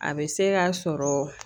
A bɛ se ka sɔrɔ